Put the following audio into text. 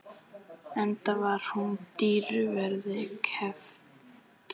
Enda var hún dýru verði keypt.